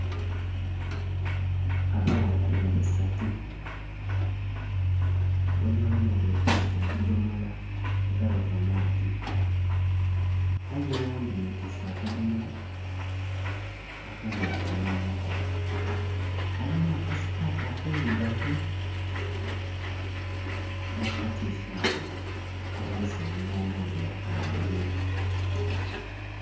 Abaghala bali basatu bonabona betwise obudhimola era bava maadhi aye oghundhi ye twise akadhomola akandhi ya kagema mumukonho alinha aka sikati akeirugavu nha katisaati akabonhesa omugingo nga era ka bbululu.